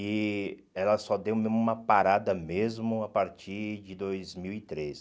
E ela só deu mesmo uma parada mesmo a partir de dois mil e três